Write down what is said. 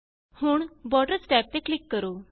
ਹੁਣ borders tab ਤੇ click ਕਰੋ